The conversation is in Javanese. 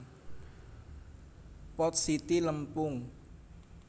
Pot siti lempung